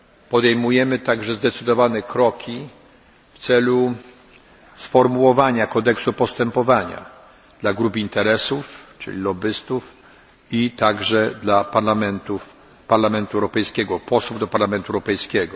Podejmujemy także zdecydowane kroki w celu sformułowania kodeksu postępowania dla grup interesów, czyli lobbystów i także dla posłów do Parlamentu Europejskiego.